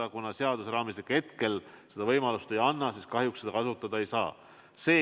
Aga kuna seaduseraamistik hetkel seda võimalust ei anna, siis kahjuks seda kasutada ei saa.